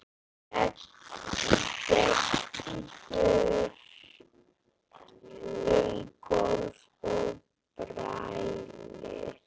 Gengur um gólf og brælir.